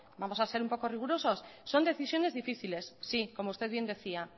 vamos a ser un poco rigurosos son decisiones difíciles sí como usted bien decía